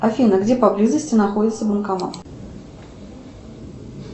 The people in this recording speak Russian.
афина где поблизости находится банкомат